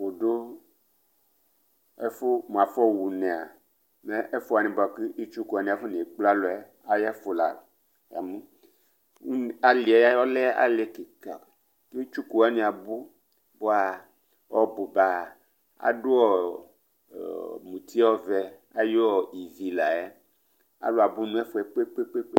Udu ɛfʋ mʋ afɔ ɣunea, mɛ ɛfʋ wani bʋakʋ itsuku wani afonekple alu yɛa ayʋ ɛfʋ la Ali yɛ lɛ ali kika Itsuku wani abu, bʋa ɔbʋba adu muti ɔvɛ ayʋ ivi la yɛ Alu abʋ nʋ ɛfʋɛ kpekpekpe